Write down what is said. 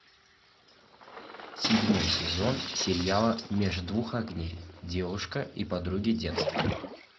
седьмой сезон сериала меж двух огней девушка и подруги детства